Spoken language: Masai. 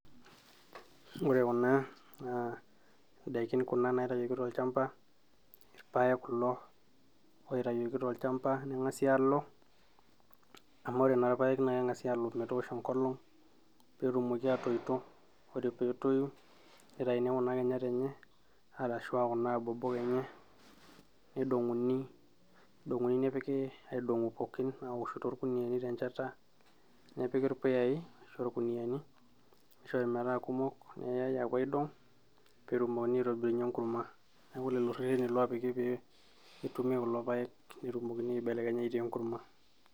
ore kuna naa indaikin kuna naitayioki tolchamba irpayek kulo oitayioki tolchamba neng'asi alo amu ore naa irpayek naa keng'asi aalo metoosho enkolong peetumoki atoito, ore peetoyu nitaini kuna kinyat enye arashu aa kuna abobok enye nidong'uuni nepiki aidong'u pookin aawoshu torkuniani tenchata nepiki irpuyai ashu aa irkuniani nishori metaa kumok neyai aapuo aidong peetumokini aitobirunyie enkurma neeku lelo rreteni loopiki pee etumi kulo payek netumokini aibelekenya aitaa enkurma.